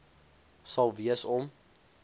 sal wees om